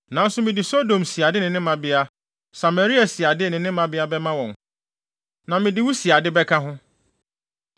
“ ‘Nanso mede Sodom siade ne ne mmabea, Samaria siade ne ne mmabea bɛma wɔn, na mede wo siade bɛka ho,